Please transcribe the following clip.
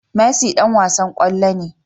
Messi Dan wasan kwallo ne